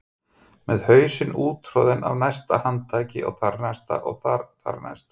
Með hausinn úttroðinn af næsta handtaki og þarnæsta og þar-þarnæsta.